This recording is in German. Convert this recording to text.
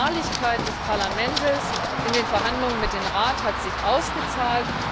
Die Beharrlichkeit des Parlaments in den Verhandlungen mit dem Rat hat sich ausgezahlt.